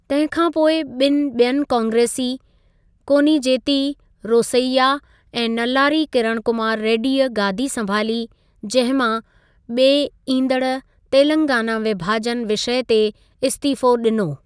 तंहिं खां पोइ बिनि ॿियुनि कांग्रेसी, कोनिजेती रोसैया ऐं नल्लारी किरण कुमार रेड्डीअ गादी संभाली, जंहिं मां ॿिए ईंदड़ु तेलंगाना विभाजन विषय ते इस्तीफ़ो ॾिनो।